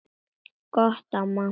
Gott mamma.